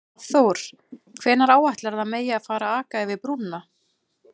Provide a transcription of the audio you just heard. Hafþór: Hvenær áætlarðu að megi að fara að aka yfir brúna?